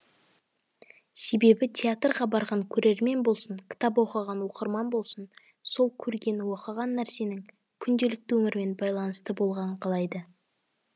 себебі театрға барған көрермен болсын кітап оқыған оқырман болсын сол көрген оқыған нәрсенің күнделікті өмірмен байланысты болғанын қалайды